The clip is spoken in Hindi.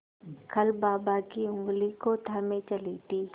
कल बाबा की ऊँगली को थामे चली थी